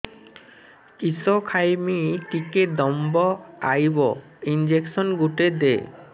କିସ ଖାଇମି ଟିକେ ଦମ୍ଭ ଆଇବ ଇଞ୍ଜେକସନ ଗୁଟେ ଦେ